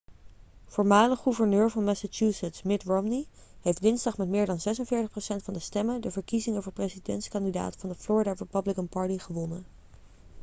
voormalig gouverneur van massachusetts mitt romney heeft dinsdag met meer dan 46 procent van de stemmen de verkiezingen voor presidentskandidaat van de florida republican party gewonnen